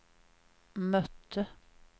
mötte